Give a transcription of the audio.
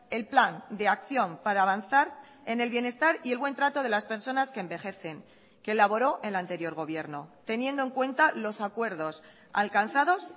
el plan de acción para avanzar en el bienestar y el buen trato de las personas que envejecen que elaboró el anterior gobierno teniendo en cuenta los acuerdos alcanzados